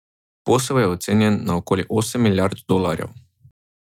Posel je ocenjen na okoli osem milijard dolarjev.